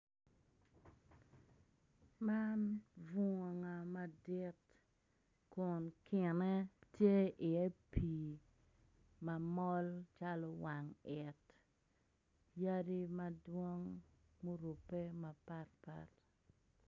Man bunga madit kun kinne tye i ye pi mamol calo wang it, yadi madwong ma orube mapat pat.